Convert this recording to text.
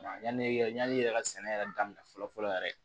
Yani yani yɛrɛ ka sɛnɛ yɛrɛ daminɛ fɔlɔ fɔlɔ yɛrɛ